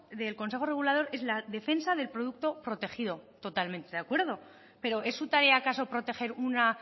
del consejo regulador es la defensa del producto protegido totalmente de acuerdo pero es su tarea acaso proteger una